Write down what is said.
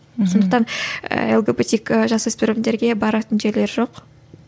мхм сондықтан лгбтик і жасөспірімдерге баратын жерлері жоқ